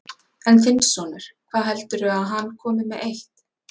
En þinn sonur, hvað heldurðu að hann komi með eitt?